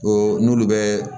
O n'olu bɛ